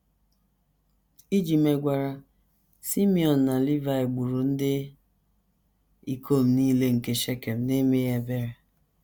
Iji megwara, Simiọn na Livaị gburu ndị ikom nile nke Shekem n’emeghị ebere.